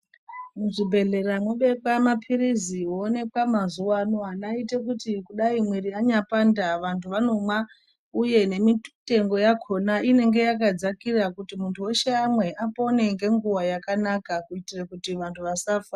Muzvibhehlera mwobekwa mapilizi owonekwa mazuwano angaite kuti Dai mwiri yanyapanda vantu vanomwa uye nemitengo yakona inenge yakadzakira kuti muntu weshe amwe apone ngenguwa yakanaka kuitira kuti vantu vasafa.